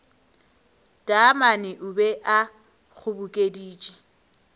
taamane o be a kgobokeditše